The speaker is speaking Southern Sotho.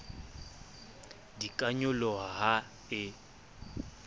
di ka nyoloha ha e